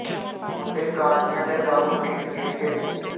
ਮੁੰਡੇ ਕਾਜ਼ੀਆਂ ਦੇ ਦਾਰੂ ਪੀਣ ਗਿੱਝ ਗਏ ਨੀ